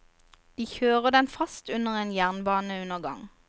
De kjører den fast under en jernbaneundergang.